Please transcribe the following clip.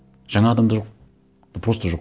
жаңа адамдар жоқ ну просто жоқ